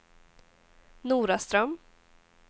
Noraström